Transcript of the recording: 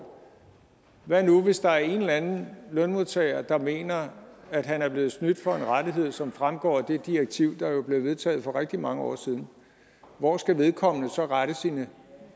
hvad nu hvis der er en eller anden lønmodtager der mener at han er blevet snydt for en rettighed som fremgår af det direktiv der jo blev vedtaget for rigtig mange år siden hvor skal vedkommende så rette sine